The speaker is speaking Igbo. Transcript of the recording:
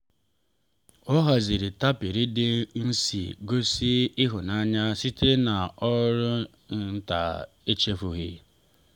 ọ haziri tapịrị dị nsị gosi ịhụnanya site n’ọrụ nta echefughị.